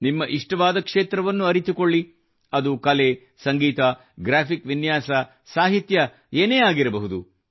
ನಿಮ್ಮ ಇಷ್ಟವಾದ ಕ್ಷೇತ್ರವನ್ನು ಅರಿತುಕೊಳ್ಳಿ ಅದು ಕಲೆ ಸಂಗೀತ ಗ್ರಾಫಿಕ್ ವಿನ್ಯಾಸ ಸಾಹಿತ್ಯ ಇತ್ಯಾದಿ ಆಗಿರಬಹುದು